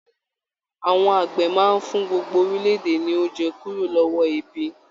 Àwọn àgbẹ̀ máa n fún gbogbo orílẹ̀-èdè ní oúnjẹ kúrò lọwọ ebi.